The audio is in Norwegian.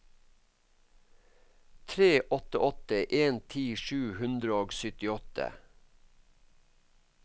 tre åtte åtte en ti sju hundre og syttiåtte